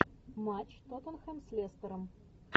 матч тоттенхэм с лестером